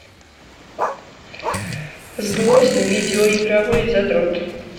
злостный видеоигровой задрот